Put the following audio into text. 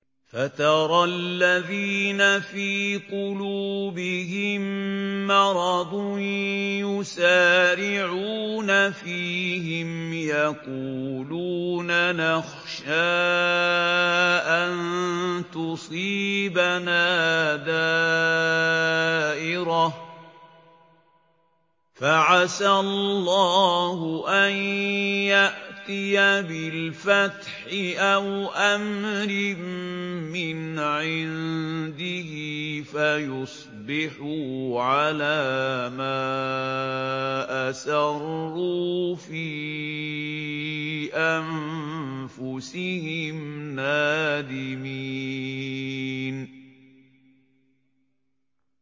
فَتَرَى الَّذِينَ فِي قُلُوبِهِم مَّرَضٌ يُسَارِعُونَ فِيهِمْ يَقُولُونَ نَخْشَىٰ أَن تُصِيبَنَا دَائِرَةٌ ۚ فَعَسَى اللَّهُ أَن يَأْتِيَ بِالْفَتْحِ أَوْ أَمْرٍ مِّنْ عِندِهِ فَيُصْبِحُوا عَلَىٰ مَا أَسَرُّوا فِي أَنفُسِهِمْ نَادِمِينَ